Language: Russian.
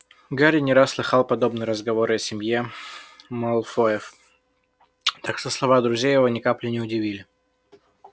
гарри не раз слыхал подобные разговоры о семье малфоев так что слова друзей его ни капли не удивили